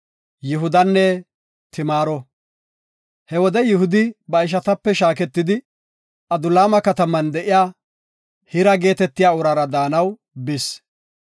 He wode Yihudi ba ishatape shaaketidi, Adulaama kataman de7iya Hira geetetiya uraara daanaw bis.